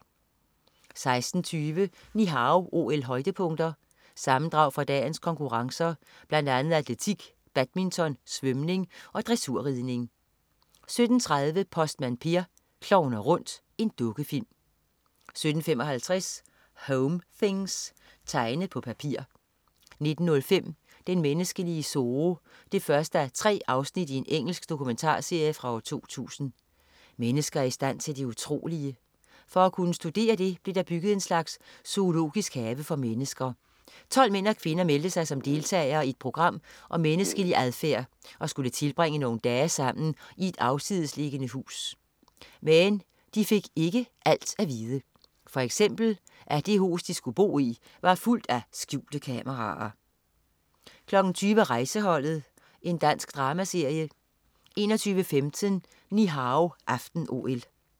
16:20 Ni Hao OL-højdepunkter. Sammendrag fra dagens konkurrencer, blandt andet atletik, badminton, svømning og dressurridning 17.30 Postmand Per klovner rundt. Dukkefilm 17.55 Home things. Tegne på papir 19.05 Den menneskelige zoo 1:3. Engelsk dokumentarserie fra 2000. Mennesker er i stand til det utrolige. For at kunne studere det blev der bygget en slags zoologisk have for mennesker. 12 mænd og kvinder meldte sig som deltagere i et program om menneskelig adfærd og skulle tilbringe nogle dage sammen i et afsidesliggende hus. Men de fik ikke alt at vide, for eksempel at det hus, de skulle bo i, var fuldt af skjulte kameraer! 20.00 Rejseholdet. Dansk dramaserie 21.15 Ni Hao aften-OL